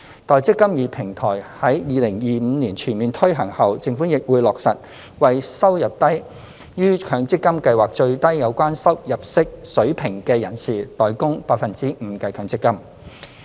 待"積金易"平台於2025年全面推行後，政府亦會落實為收入低於強積金計劃最低有關入息水平的人士代供 5% 的強積金。